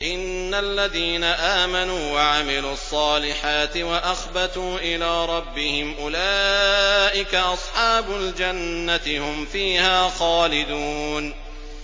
إِنَّ الَّذِينَ آمَنُوا وَعَمِلُوا الصَّالِحَاتِ وَأَخْبَتُوا إِلَىٰ رَبِّهِمْ أُولَٰئِكَ أَصْحَابُ الْجَنَّةِ ۖ هُمْ فِيهَا خَالِدُونَ